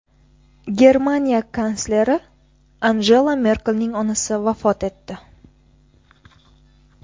Germaniya kansleri Angela Merkelning onasi vafot etdi.